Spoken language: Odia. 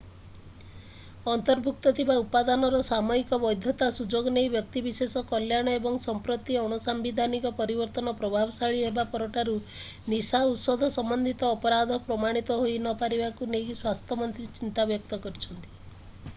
ଅନ୍ତର୍ଭୁକ୍ତ ଥିବା ଉପାଦାନର ସାମୟିକ ବୈଧତାର ସୁଯୋଗ ନେଇ ବ୍ୟକ୍ତିବିଶେଷଙ୍କ କଲ୍ୟାଣ ଏବଂ ସମ୍ପ୍ରତି ଅଣସାମ୍ବିଧାନିକ ପରିବର୍ତ୍ତନ ପ୍ରଭାବଶାଳୀ ହେବା ପରଠାରୁ ନିଶା ଔଷଧ ସମ୍ବନ୍ଧିତ ଅପରାଧ ପ୍ରମାଣିତ ହୋଇନପାରିବାକୁ ନେଇ ସ୍ୱାସ୍ଥ୍ୟମନ୍ତ୍ରୀ ଚିନ୍ତା ବ୍ୟକ୍ତ କରିଛନ୍ତି